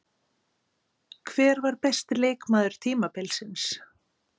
Hver var besti leikmaður tímabilsins?